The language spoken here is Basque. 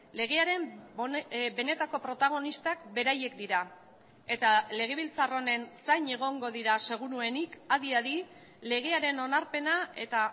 legearen benetako protagonistak beraiek dira eta legebiltzar honen zain egongo dira seguruenik adi adi legearen onarpena eta